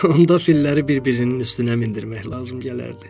Onda filləri bir-birinin üstünə mindirmək lazım gələrdi.